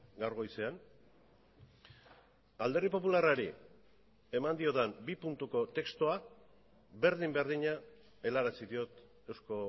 gaur goizean alderdi popularrari eman diodan bi puntuko testua berdin berdina helarazi diot eusko